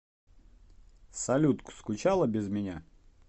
салют скучала без меня